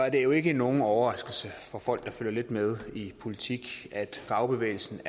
at det jo ikke er nogen overraskelse for folk der følger lidt med i politik at fagbevægelsen